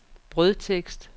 brødtekst